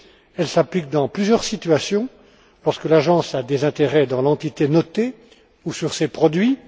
elle s'applique dans plusieurs situations lorsque l'agence a des intérêts dans l'entité notée ou ses produits